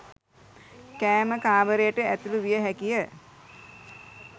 කෑම කාමරයට ඇතුළු විය හැකිය.